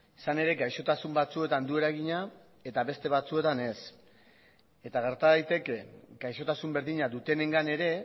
izan ere gaixotasun batzuetan du eragina eta beste batzuetan ez eta gerta daiteke gaixotasun berdina dutenengan ere